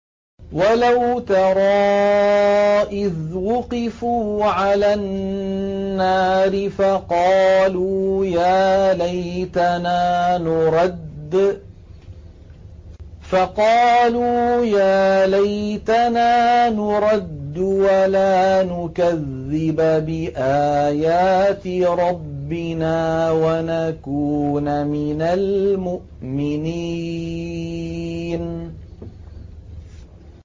وَلَوْ تَرَىٰ إِذْ وُقِفُوا عَلَى النَّارِ فَقَالُوا يَا لَيْتَنَا نُرَدُّ وَلَا نُكَذِّبَ بِآيَاتِ رَبِّنَا وَنَكُونَ مِنَ الْمُؤْمِنِينَ